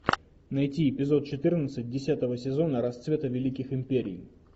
найти эпизод четырнадцать десятого сезона расцвета великих империй